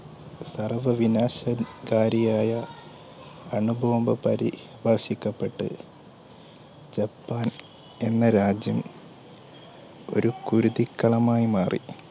സർവ്വ വിനാശരിഷ് ക്കാരിയായ അണുബോംബ്പരിപോഷിക്കപ്പെട്ടു. ജപ്പാൻ എന്ന രാജ്യം ഒരു കുരുതിക്കളമായി മാറി.